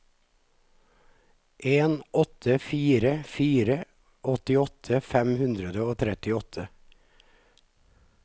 en åtte fire fire åttiåtte fem hundre og trettiåtte